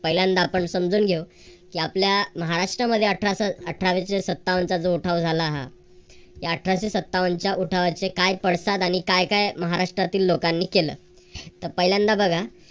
पहिल्यांदा आपण समजून घेऊ. कि आपल्या महाराष्ट्रमध्ये अठराशे सत्तावनचा जो उठाव झाला हा अठराशे सत्तावन च्या उठावाचे काय पडतात आणि काय काय महाराष्ट्रातल्या लोकांनी केलं. तर पहिल्यांदा बघा.